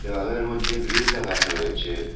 হলের মধ্যে গ্রিল লাগানো রয়েছে।